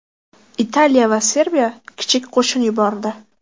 Italiya va Serbiya kichik qo‘shin yubordi.